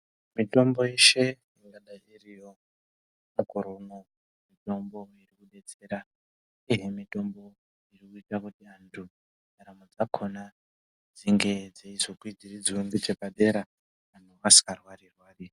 Mitombo yeshe ingadai iriyo mukore unouyu mitombo irikubetsera, uyehe mitombo iri kuite kuti antu ndaramo dzakona dzinge dzeizokwidziridzwa nechepadera, vantu vasikarwari-rwari.